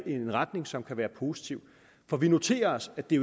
i en retning som kan være positiv for vi noterer os at det